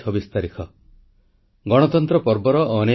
• ଜଳ ସଂରକ୍ଷଣ ଓ ବର୍ଷା ଜଳ ପରିଚାଳନା ପାଇଁ ଦେଶବାସୀଙ୍କୁ ଆହ୍ୱାନ